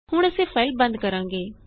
ਹੁਣ ਅਸੀਂ ਫਾਇਲ ਬੰਦ ਕਰਾਂਗੇ